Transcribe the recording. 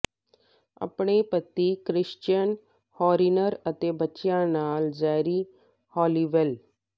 ਆਪਣੇ ਪਤੀ Christian Horner ਅਤੇ ਬੱਚਿਆਂ ਨਾਲ ਜੈਰੀ ਹਾਲੀਵੈਲ